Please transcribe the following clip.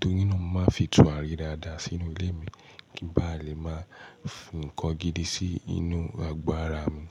Torí ná mo ma ń fi turare dáada sí inú ilé mi kin bá lè ma fi nkan gidi sí inú àgọ́ ara mi.